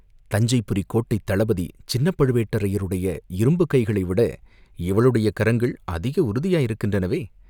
தஞ்சைபுரிக்கோட்டைத் தளபதி சின்னப் பழுவேட்டரையருடைய இரும்புக் கைகளைவிட இவளுடைய கரங்கள் அதிக உறுதியாயிருக்கின்றனவே!